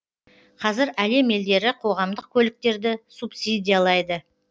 қазір әлем елдері қоғамдық көліктерді субсидиялайды